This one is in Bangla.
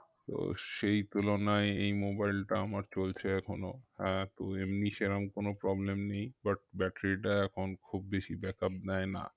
তো সেই তুলনায় এই mobile টা আমার চলছে এখনো হ্যাঁ তো এমনি সেরম কোনো problem নেই but battery টা এখন খুব বেশি back up দেয় না